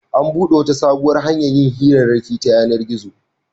An buɗe wata sabuwar hanyar yin hirarraki ta yanar-gizo.